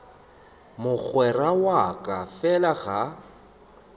mogwera wa ka fela ga